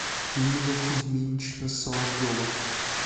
ирина кузьминична соловьева